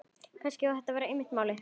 Kannski var þetta einmitt málið.